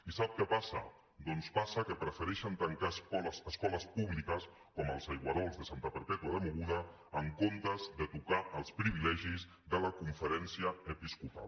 i sap què passa doncs passa que prefereixen tancar escoles públiques com els aigüerols de santa perpètua de mogoda en comptes de tocar els privilegis de la conferència episcopal